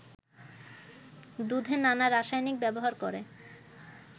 দুধে নানা রাসায়নিক ব্যবহার করে